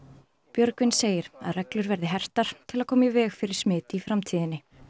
Björgvin segir að reglur verði hertar til að koma í veg fyrir smit í framtíðinni